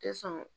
Tɛ sɔn